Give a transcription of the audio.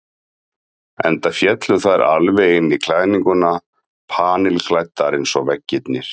Enda féllu þær alveg inn í klæðninguna, panilklæddar eins og veggirnir.